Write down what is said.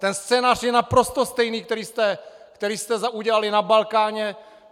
Ten scénář je naprosto stejný, jako jste udělali na Balkáně.